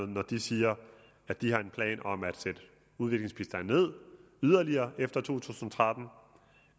når de siger at de har en plan om at sætte udviklingsbistanden ned yderligere efter to tusind og tretten